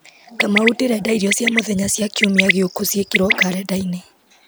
kamau ndĩrenda irio cia mũthenya cia kiumia gĩũku ciĩkĩrwo karenda-inĩ